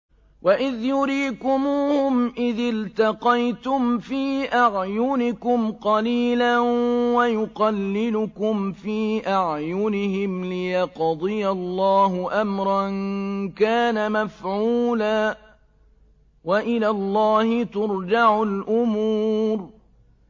وَإِذْ يُرِيكُمُوهُمْ إِذِ الْتَقَيْتُمْ فِي أَعْيُنِكُمْ قَلِيلًا وَيُقَلِّلُكُمْ فِي أَعْيُنِهِمْ لِيَقْضِيَ اللَّهُ أَمْرًا كَانَ مَفْعُولًا ۗ وَإِلَى اللَّهِ تُرْجَعُ الْأُمُورُ